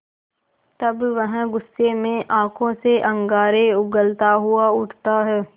तब वह गुस्से में आँखों से अंगारे उगलता हुआ उठता है